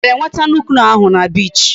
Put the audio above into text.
O gara enweta nuke-noh ahu na beach?